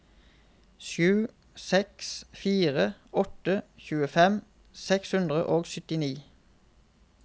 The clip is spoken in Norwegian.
sju seks fire åtte tjuefem seks hundre og syttini